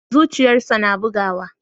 Zuciyarsa na bugawa.